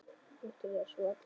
Viktoría: Sú allra besta?